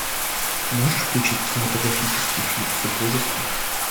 можешь включить кинематографический фильм супружество